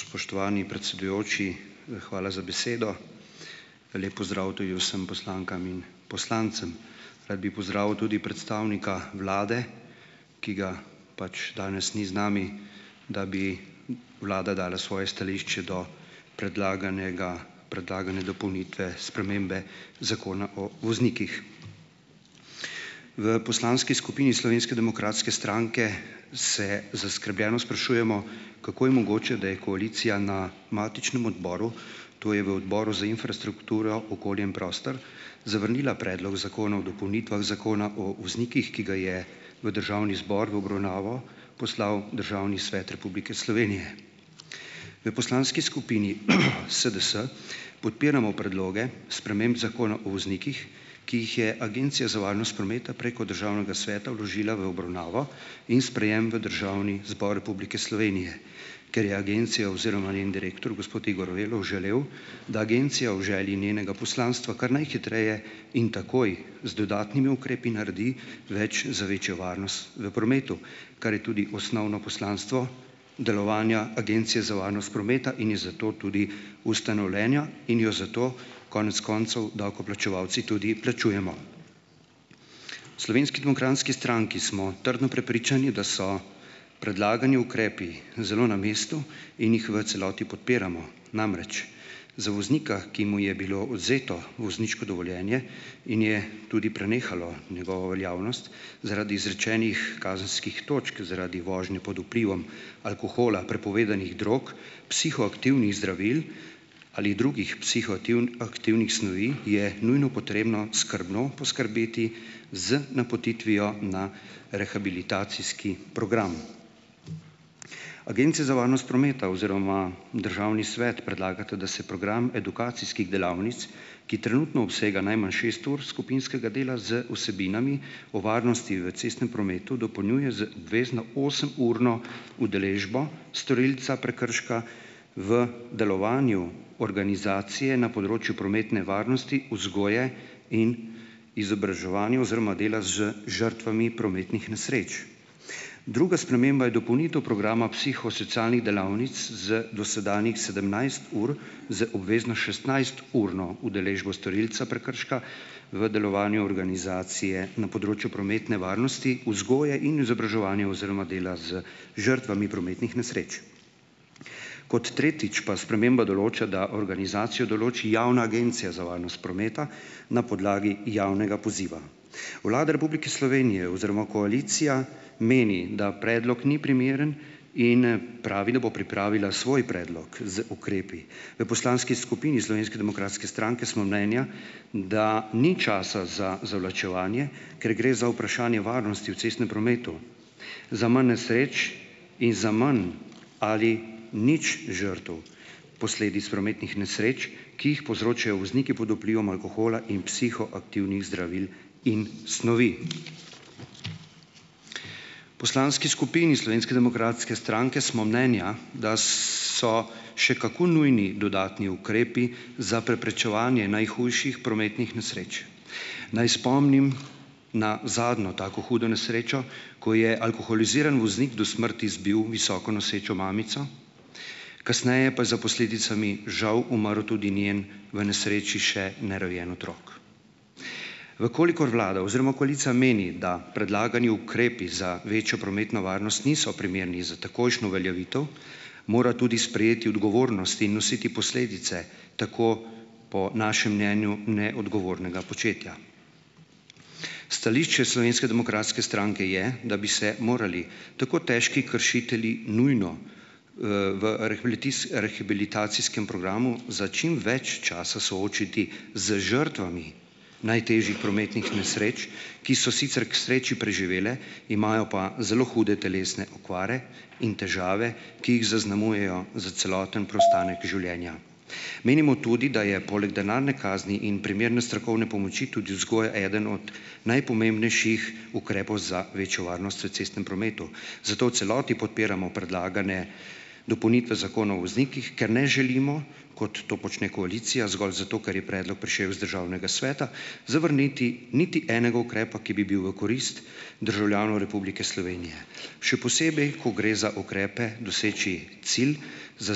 Spoštovani predsedujoči, hvala za besedo. Lep pozdrav tudi vsem poslankam in poslancem. Rad bi pozdravil tudi predstavnika vlade, ki ga pač danes ni z nami, da bi vlada dala svoje stališče do predlaganega predlagane dopolnitve spremembe Zakona o voznikih. V poslanski skupini Slovenske demokratske stranke se zaskrbljeno sprašujemo, kako je mogoče, da je koalicija na matičnem odboru, to je v Odboru za infrastrukturo, okolje in prostor zavrnila predlog Zakona o dopolnitvah Zakona o voznikih, ki ga je v Državni zbor v obravnavo poslal Državni svet Republike Slovenije. V poslanski skupini SDS podpiramo predloge sprememb Zakona o voznikih, ki jih je Agencija za varnost prometa preko Državnega sveta vložila v obravnavo in sprejem v Državni zbor Republike Slovenije. Ker je agencija oziroma njen direktor gospod Igor Velov želel, da agencija v želji njenega poslanstva kar najhitreje in takoj z dodatnimi ukrepi naredi več za večjo varnost v prometu, kar je tudi osnovno poslanstvo delovanja Agencije za varnost prometa in je zato tudi ustanovljena in jo zato konec koncev davkoplačevalci tudi plačujemo. V Slovenski demokratski stranki smo trdno prepričani, da so predlagani ukrepi zelo na mestu in jih v celoti podpiramo. Namreč, za voznika, ki mu je bilo vzeto vozniško dovoljenje in je tudi prenehalo njegovo veljavnost zaradi izrečenih kazenskih točk zaradi vožnje pod vplivom alkohola, prepovedanih drog, psihoaktivnih zdravil ali drugih aktivnih snovi, je nujno potrebno skrbno poskrbeti z napotitvijo na rehabilitacijski program. Agencija za varnost prometa oziroma Državni svet predlagata, da se program edukacijskih delavnic, ki trenutno obsega najmanj šest ur skupinskega dela z vsebinami o varnosti v cestnem prometu, dopolnjuje z obvezno osemurno udeležbo storilca prekrška v delovanju organizacije na področju prometne varnosti, vzgoje in izobraževanju oziroma dela z žrtvami prometnih nesreč. Druga sprememba je dopolnitev programa psihosocialnih delavnic z dosedanjih sedemnajst ur z obvezno šestnajsturno udeležbo storilca prekrška v delovanju organizacije na področju prometne varnosti, vzgoje in izobraževanja oziroma dela z žrtvami prometnih nesreč. Pod tretjič pa sprememba določa, da organizacijo določi Javna agencija za varnost prometa na podlagi javnega poziva. Vlada Republike Slovenije oziroma koalicija meni, da predlog ni primeren, in pravi, da bo pripravila svoj predlog z ukrepi. V poslanski skupini Slovenske demokratske stranke smo mnenja, da ni časa za zavlačevanje, ker gre za vprašanje varnosti v cestnem prometu, za manj nesreč in za manj ali nič žrtev posledic prometnih nesreč, ki jih povzročajo vozniki pod vplivom alkohola in psihoaktivnih zdravil in snovi. Poslanski skupini Slovenske demokratske stranke smo menja, da so še kako nujni dodatni ukrepi za preprečevanje najhujših prometnih nesreč. Naj spomnim na zadnjo tako hudo nesrečo, ko je alkoholiziran voznik do smrti zbil visoko nosečo mamico, kasneje pa za posledicami žal umrl tudi njen v nesreči še nerojen otrok. V kolikor vlada oziroma koalicija meni, da predlagani ukrepi za večjo prometno varnost niso primerni za takojšnjo uveljavitev, mora tudi sprejeti odgovornost in nositi posledice, tako po našem mnenju neodgovornega početja. Stališče Slovenske demokratske stranke je, da bi se morali tako težki kršitelji nujno v arhibilits rehabilitacijskem programu za čim več časa soočiti z žrtvami najtežjih prometnih nesreč, ki so sicer k sreči preživele, imajo pa zelo hude telesne okvare in težave, ki jih zaznamujejo za celoten preostanek življenja. Menimo tudi, da je poleg denarne kazni in primerne strokovne pomoči tudi vzgoja eden od najpomembnejših ukrepov za večjo varnost v cestnem prometu. Zato v celoti podpiramo predlagane dopolnitve zakona o voznikih, ker ne želimo, kot to počne koalicija, zgolj zato ker je predlog prišel iz Državnega sveta, zavrniti niti enega ukrepa, ki bi bil v korist državljanov Republike Slovenije. Še posebej, ko gre za ukrepe doseči cilj za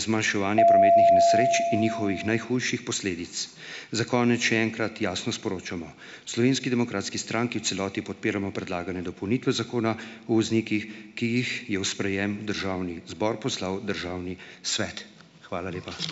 zmanjševanje prometnih nesreč in njihovih najhujših posledic. Za konec še enkrat jasno sporočamo: v Slovenski demokratski stranki v celoti podpiramo predlagane dopolnitve zakona o voznikih, ki jih je v sprejem v Državni zbor poslal Državni svet. Hvala lepa.